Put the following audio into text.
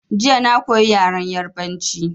Jiya na koyi yaren Yarabanci